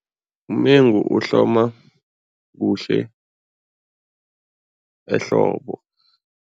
Umengu uhloma kuhle ehlobo.